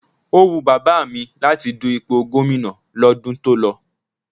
O wù Bàbá mi láti du ipò Gómìnà lọ́dún tó lọ.